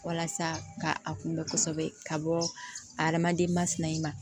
Walasa ka a kunbɛ kosɛbɛ ka bɔ adamaden masina in ma